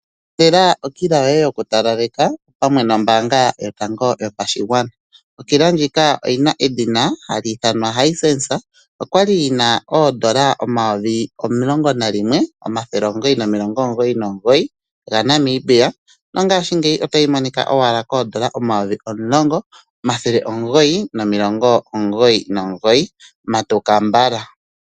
Ilandela okila yoye yokutalaleka opamwe nombaanga yotango yopashigwana. Okila ndjika oyina edhina hali ithanwa Hisense, okwali yi na N$11999 nongashingeyi otayi monika owala koN$10999. Matuka mbala!